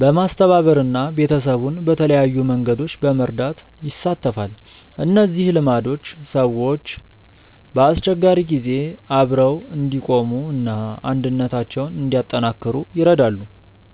በማስተባበር እና ቤተሰቡን በተለያዩ መንገዶች በመርዳት ይሳተፋል። እነዚህ ልማዶች ሰዎች በአስቸጋሪ ጊዜ አብረው እንዲቆሙ እና አንድነታቸውን እንዲያጠናክሩ ይረዳሉ።